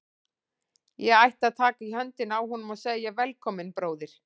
Ég ætti að taka í höndina á honum og segja: Velkominn, bróðir.